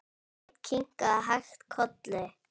Sveinn kinkaði hægt kolli.